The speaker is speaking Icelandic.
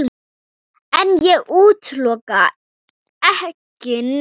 En ég útiloka ekki neitt.